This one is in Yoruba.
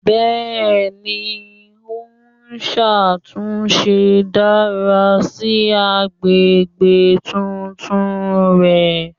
Bẹ́ẹ̀ni, o n ṣatunṣe dara si agbegbe titun rẹ.